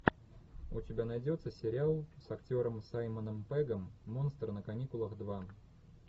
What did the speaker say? у тебя найдется сериал с актером саймоном пеггом монстры на каникулах два